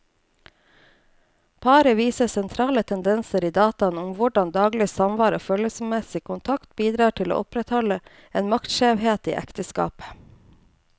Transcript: Paret viser sentrale tendenser i dataene om hvordan daglig samvær og følelsesmessig kontakt bidrar til å opprettholde en maktskjevhet i ekteskapet.